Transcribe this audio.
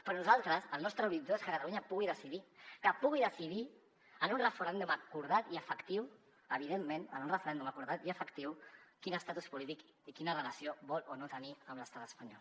però nosaltres el nostre horitzó és que catalunya pugui decidir que pugui decidir en un referèndum acordat i efectiu evidentment quin estatus polític i quina relació vol o no tenir amb l’estat espanyol